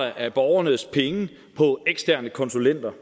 af borgernes penge på eksterne konsulenter